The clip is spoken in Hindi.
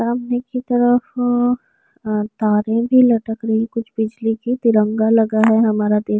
सामने की तरफ अ तारे भी लटक रही कुछ बिजली की। तिरंगा लगा है हमारा ति --